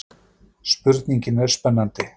Spurningin er spennandi.